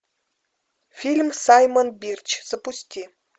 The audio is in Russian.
фильм саймон бирч запусти